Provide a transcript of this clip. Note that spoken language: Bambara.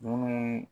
Munnu